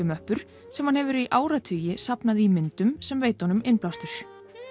úrklippumöppur sem hann hefur í áratugi safnað í myndum sem veita honum innblástur